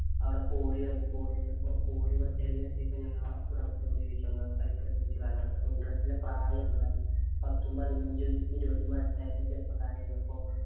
അവിടെ quarry വന്നു. Qwarry വന്നപ്പം quarry വന്നപ്പം ഞങ്ങളാ ഉടമസ്ഥനോട് ചോദിച്ചു. ഞങ്ങള് കളിക്കട്ടെ എന്ന് ചോദിച്ചു. അതിനകത്ത് interest ഇന്‍റെ പ്രായമല്ലേ. പത്തും പതിനഞ്ചും ഇരുപതും വയസായ ചെറുപ്പക്കാര് ആരുന്നു.